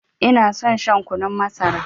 Ina son shan kunun masara.